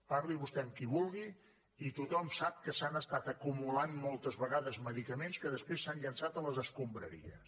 parli vostè amb qui vulgui i tothom sap que s’han estat acumulant moltes vegades medicaments que després s’han llençat a les escombraries